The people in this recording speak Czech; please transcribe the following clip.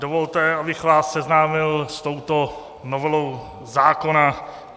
Dovolte, abych vás seznámil s touto novelou zákona.